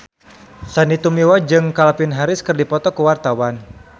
Sandy Tumiwa jeung Calvin Harris keur dipoto ku wartawan